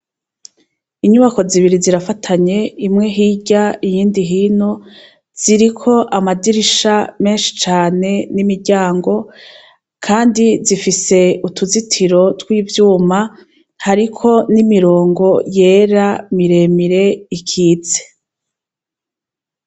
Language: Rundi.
Inyubako zibiri zirafatanye imwe hirya iyindi hino ,ziriko Amadirisha meshi cane n'imiryango, kandi zifise utuzitiro twivyuma hariko n'imirongo yera miremire ikitse.